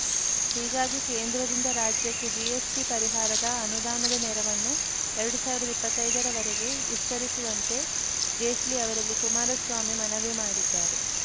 ಹೀಗಾಗಿ ಕೇಂದ್ರದಿಂದ ರಾಜ್ಯಕ್ಕೆ ಜಿಎಸ್ಟಿಪರಿಹಾರದ ಅನುದಾನದ ನೆರವನ್ನು ಎರಡ್ ಸಾವಿರದ ಇಪ್ಪತ್ತೈದ ರ ವರೆಗೆ ವಿಸ್ತರಿಸುವಂತೆ ಜೇಟ್ಲಿ ಅವರಲ್ಲಿ ಕುಮಾರಸ್ವಾಮಿ ಮನವಿ ಮಾಡಿದ್ದಾರೆ